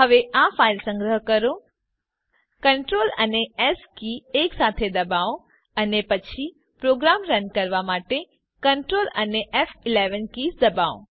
હવે આ ફાઈલ સંગ્રહ કરો Ctrl એસ કે એક સાથે ડબાઓ અને પછી પ્રોગ્રામ રન કરવા માટે Ctrl ફ11 કીઝ ડબાઓ